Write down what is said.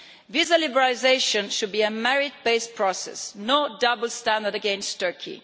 Visa liberalisation should be a merit based process with no double standards against Turkey.